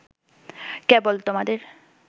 কেবল তোমাদের